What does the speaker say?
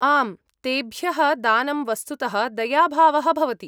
आम्, तेभ्यः दानं वस्तुतः दयाभावः भवति।